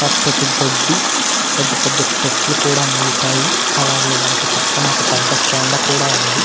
పచ్చటి గడ్డి పెద్ద పెద్ద చెట్లు కూడా మొలిచాయి. అలాగే వాటి పక్కన ఒక పెద్ధ కొండ కూడా ఉంది.